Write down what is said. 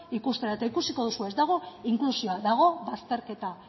ikustera eta ikusiko duzu ez dagoela inklusioa dago bazterketa